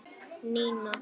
Nína!